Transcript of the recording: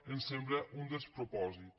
ens sembla un despropòsit